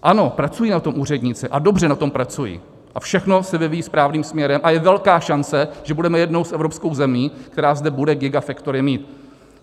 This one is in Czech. Ano, pracují na tom úředníci, a dobře na tom pracují a všechno se vyvíjí správným směrem a je velká šance, že budeme jednou z evropských zemí, která zde bude gigafactory mít.